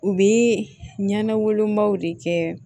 U bɛ ɲɛna wolobaw de kɛ